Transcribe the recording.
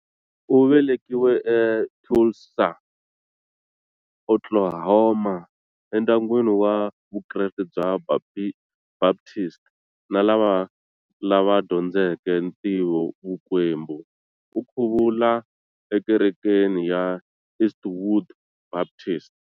U velekiwe eTulsa, Oklahoma, endyangwini wa Vukreste bya Baptist na lava lava dyondzeke ntivovukwembu, u khuvula eKerekeni ya Eastwood Baptist.